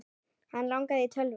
Hann langaði í tölvu.